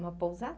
Uma pousada?